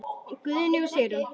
Guðni og Sigrún.